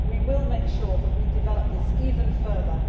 We will make sure that we develop this even further.